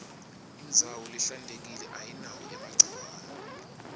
indzawo lehlantekile ayinawo emagciwane